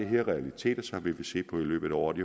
her realiteter som vi vil se på i løbet af året